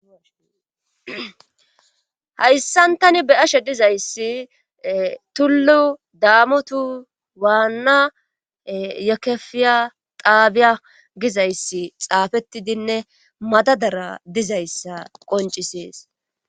Hayssan tani be ashe dizayssi tullu daamotu waanna yekefiya xaabiya gizayssi xaafettidinne madadara dizayssa qoncisees